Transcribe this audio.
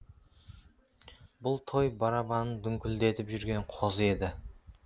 бұл той барабанын дүңкілдетіп жүрген қозы еді